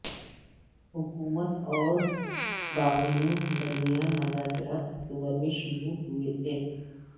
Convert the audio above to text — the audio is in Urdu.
حکومت اور باغیوں کے درمیان مذاکرات اکتوبر میں شروع ہوئے تھے